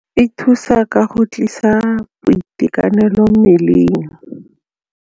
E thusa ka go tlisa boitekanelo mmeleng.